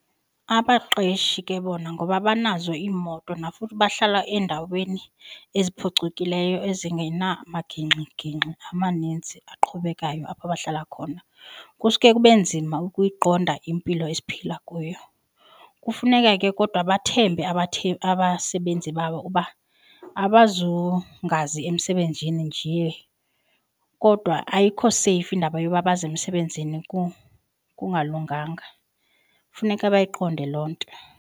Abaqeshi ke bona ngoba banazo iimoto futhi bahlala eendaweni eziphucukileyo ezingenamagingxigingxi amaninzi aqhubekayo apho bahlala khona kusuke kube nzima ukuyiqonda impilo esiphila kuyo. Kufuneka ke kodwa bathembe abasebenzi babo uba abazungazi emsebenzini njee kodwa ayikho seyifu indaba yoba baze emsebenzini kungalunganga. Funeka bayiqonde loo nto.